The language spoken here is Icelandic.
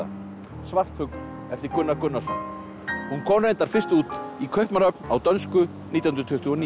svartfugl eftir Gunnar Gunnarsson hún kom reyndar fyrst út í Kaupmannahöfn á dönsku nítján hundruð tuttugu og níu